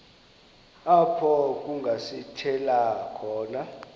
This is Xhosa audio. apho kungasithela khona